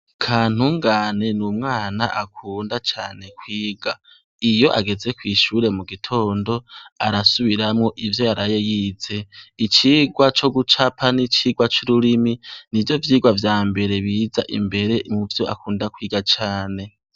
Kantungane n'umwana akunda cane kwiga. Iyo ageza kw'ishuri mugitondo arasubiramwo ivyo yaraye yize. Icigwa cogucapa n'icigwa c'ururimi nivyo vyigwa vyamere biza imbere muvyo akunda kwiga cane.